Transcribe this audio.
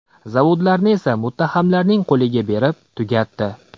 Zavodlarni esa muttahamlarning qo‘liga berib, tugatdi.